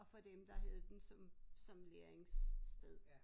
Og for dem der havde den som som læringssted